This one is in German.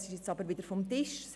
Das ist nun jedoch vom Tisch.